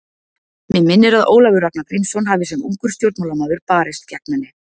Mig minnir að Ólafur Ragnar Grímsson hafi sem ungur stjórnmálamaður barist gegn henni.